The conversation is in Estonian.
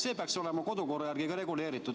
See peaks olema kodukorra järgi reguleeritud.